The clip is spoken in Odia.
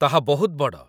ତାହା ବହୁତ ବଡ଼!